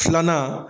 Filanan